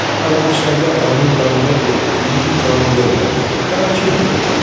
Ağbircəkli ananın yanına getdin, can vermədi, daha kim verəcək?